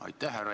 Aitäh!